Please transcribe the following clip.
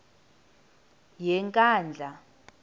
yenkandla